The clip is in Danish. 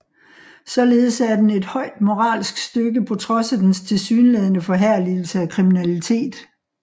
Således er den et højt moralsk stykke på trods af dens tilsyneladende forherligelse af kriminalitet